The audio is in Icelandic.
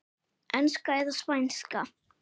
Enska eða Spænska?